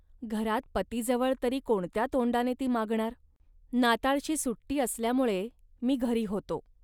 घरात पतीजवळ तरी कोणत्या तोंडाने ती मागणार. नाताळची सुट्टी असल्यामुळे मी घरी होतो